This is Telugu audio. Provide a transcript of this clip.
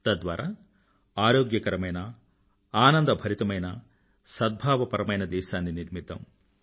తద్వారా ఆరోగ్యకరమైన ఆనందభరితమైన సద్భావపరమైన దేశాన్ని నిర్మిద్దాం